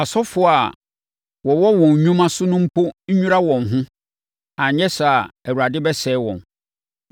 Asɔfoɔ a wɔwɔ wɔn nnwuma so no mpo nnwira wɔn ho, anyɛ saa a, Awurade bɛsɛe wɔn.”